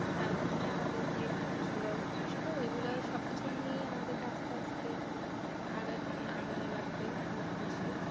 আমাদের আমাদেরকে আসলে এগুলো সব কিছু নিয়েই আমাদেরকে আস্তে আস্তে এগুনো লাগবে আমরা বুঝি।